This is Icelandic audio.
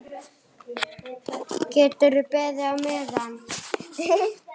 Geturðu beðið á meðan.